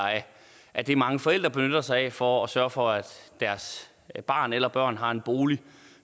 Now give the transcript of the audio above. af det som mange forældre benytter sig af for at sørge for at deres barn eller børn har en bolig